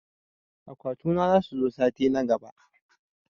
Akwati na zasu zo sati na gaɓa.